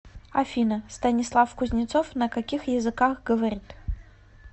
афина станислав кузнецов на каких языках говорит